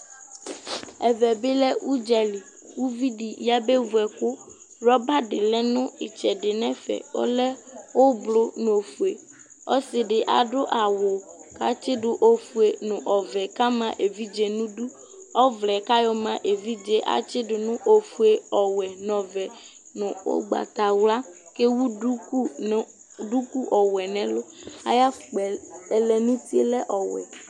ɛvɛ bi lɛ udza li uvi di ya be vu ɛkò rɔba di lɛ no itsɛdi n'ɛfɛ ɔlɛ ublu no ofue ɔsi di adu awu k'atsi do ofue no ɔvɛ k'ama evidze n'idu ɔvlɛ yɛ k'ayɔ ma evidze atsi do no ofue n'ɔwɛ n'ɔvɛ no ugbata wla k'ewu duku no duku ɔwɛ n'ɛlu ayi afukpa yɛ ɛlɛnuti lɛ ɔwɛ